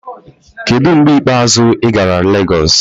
Kedu mgbe ikpeazụ ị gara Lagos?